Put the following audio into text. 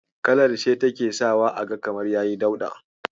Kalar ce take sawa aga kamar yayi dauɗa.